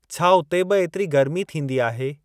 छा उते बि एतिरी गर्मी थींदी आहे?